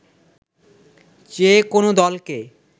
যেকোনো দলকে